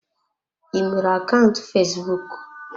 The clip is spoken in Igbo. I nwere akaụntụ fesbụụk?